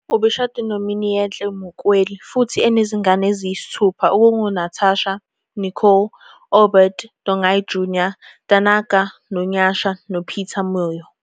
Ubeshade noMiniehle Mukweli futhi enezingane eziyisithupha okungoNatasha, Nicole, Obert, Tongai Jnr, Tanaka noNyasha noPeter Moyo.